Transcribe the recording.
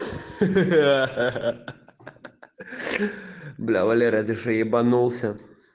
ха-ха-ха бля валера ты что ебанулся